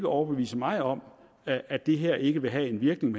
overbevise mig om at at det her ikke vil have den virkning